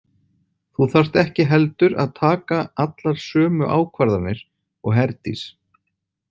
Þú þarft ekki heldur að taka allar sömu ákvarðanir og Herdís.